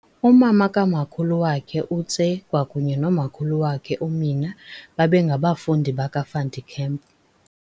Umama kaMakhulu wakhe uTse kwakunye noMakhulu wakhe uMina babe ngabafundi baka Van der Kemp.